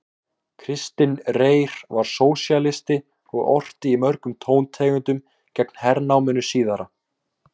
Kristinn Reyr var sósíalisti og orti í mörgum tóntegundum gegn hernáminu síðara.